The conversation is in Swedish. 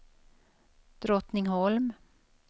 Drottningholm